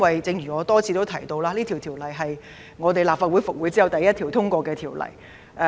正如我已多次提到，《條例草案》是立法會復會後首項通過的法案。